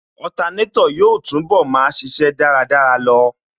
Otanétò yóò túnbọ̀ máa ṣíṣe dáradára lọ